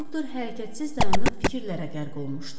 Doktor hərəkətsiz dayanıb fikirlərə qərq olmuşdu.